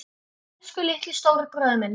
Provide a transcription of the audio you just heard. Elsku litli, stóri bróðir minn.